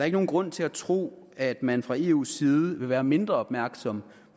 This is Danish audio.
ikke nogen grund til at tro at man fra eus side vil være mindre opmærksom